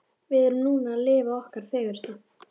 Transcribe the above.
Við erum núna að lifa okkar fegursta.